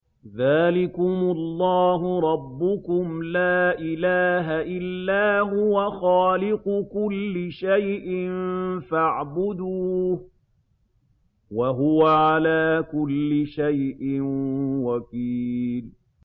ذَٰلِكُمُ اللَّهُ رَبُّكُمْ ۖ لَا إِلَٰهَ إِلَّا هُوَ ۖ خَالِقُ كُلِّ شَيْءٍ فَاعْبُدُوهُ ۚ وَهُوَ عَلَىٰ كُلِّ شَيْءٍ وَكِيلٌ